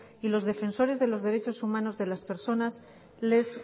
y los defensores de los derechos humanos de las personas les